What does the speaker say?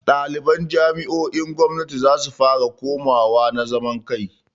Ɗaliban jami'o'in gwamnati zasu fara komawa na zaman kai.